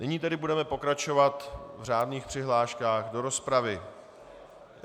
Nyní tedy budeme pokračovat v řádných přihláškách do rozpravy.